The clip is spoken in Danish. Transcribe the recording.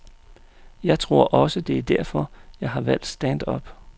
Jeg tror også, det er derfor, jeg har valgt stand-up.